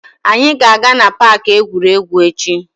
Anyị ga-aga na paaki egwuregwu echi.